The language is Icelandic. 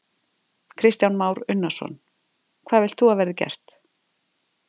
Kristján Már Unnarsson: Hvað vilt þú að verði gert?